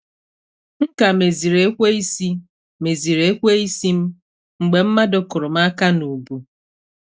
M ka meziri ekweisi meziri ekweisi m mgbe mmadụ kụrụ m aka n'ubu.